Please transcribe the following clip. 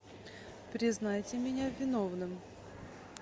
признайте меня виновным